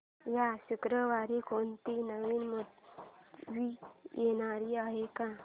या शुक्रवारी कोणती नवी मूवी येणार आहे का